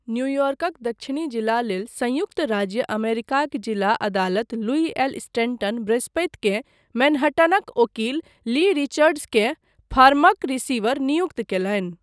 न्यूयॉर्कक दक्षिणी जिला लेल संयुक्त राज्य अमेरिकाक जिला अदालत लुई एल स्टेनटन बृहस्पतिकेँ मैनहट्टनक ओकील ली रिचर्ड्सकेँ फर्मक रिसीवर नियुक्त कयलनि।